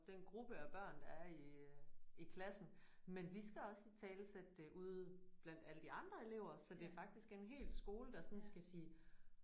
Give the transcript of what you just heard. Den gruppe af børn der er i i klassen. Men vi skal også italesætte det ude blandt alle de andre elever så det faktisk er en hel skole der sådan skal sige